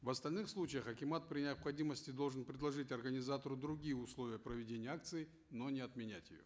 в остальных случаях акимат при необходимости должен предложить организатору другие условия проведения акции но не отменять ее